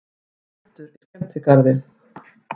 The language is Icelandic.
Eldur í skemmtigarði